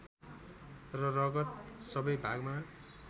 र रगत सबै भागमा